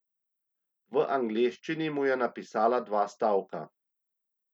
V angleščini mu je napisala dva stavka.